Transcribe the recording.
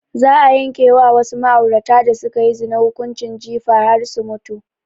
Za a yanke wa wasu ma'aurata da sukayi zina hukunci jifa har su mutu